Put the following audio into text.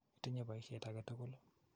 Itinye poisyet ake tukul ii?